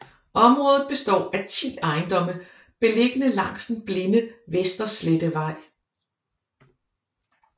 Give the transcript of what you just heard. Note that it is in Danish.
Området består af 10 ejendomme beliggende langs den blinde Vesterslettevej